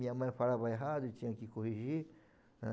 Minha mãe falava errado, tinha que corrigir. Ãh